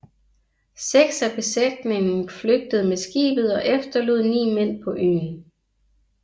Seks af besætningen flygtede med skibet og efterlod ni mænd på øen